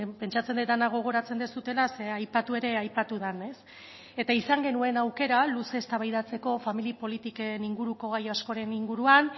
pentsatzen dut gogoratzen duzuela zeren eta aipatu ere aipatu da izan genuen aukera luze eztabaidatzeko familia politiken inguruko gai askoren inguruan